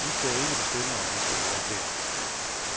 I skal ikke bestemme om vi skal være her.